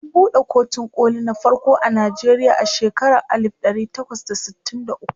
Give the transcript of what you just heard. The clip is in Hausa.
an buɗe kotun koli na farko a Nigeria a shekaran alif ɗari takwas da sittin da ukwu